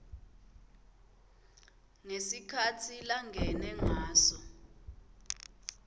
ngesikhatsi langene ngaso